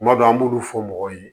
Kuma dɔ an b'olu fɔ mɔgɔw ye